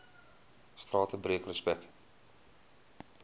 strate breek respek